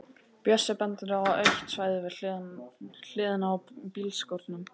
Bjössi bendir á autt svæði við hliðina á bílskúrunum.